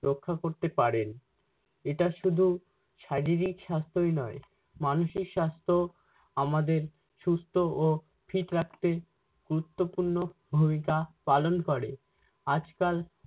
রক্ষা করতে পারেন। এটা শুধু শারীরিক সাস্থই নয় মানসিক স্বাস্থও আমাদের সুস্থ্য ও fit রাখতে গুরুত্বপূর্ণ ভূমিকা পালন করে। আজকাল-